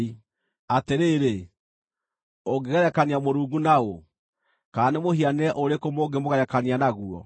Atĩrĩrĩ, ũngĩgerekania Mũrungu na ũ? Kana nĩ mũhianĩre ũrĩkũ mũngĩmũgerekania naguo?